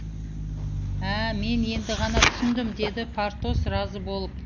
ә мен енді ғана түсіндім деді портос разы болып